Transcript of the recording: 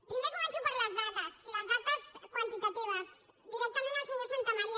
primer començo per les dades les dades quantitatives directament al senyor santamaría